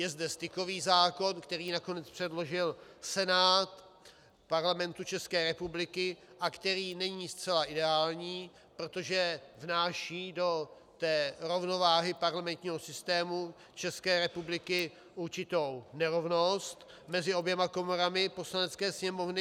Je zde stykový zákon, který nakonec předložil Senát Parlamentu České republiky a který není zcela ideální, protože vnáší do té rovnováhy parlamentního systému České republiky určitou nerovnost mezi oběma komorami Poslanecké sněmovny.